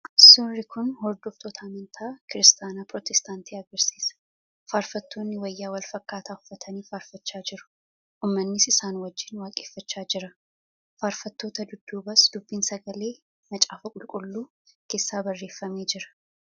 suurri kun hordoftoota amantaa kiristaanaa pirootestaantii agarsiisa. Faarfattoonni wayyaa wal-fakkaataa uffatanii faarfachaa jiru. Uummannis isaan wajjin waaqeffachaa jira. Faarfattoota dudduubas dubbiin sagalee macaafa qulqulluu keessaa barreeffamee jira.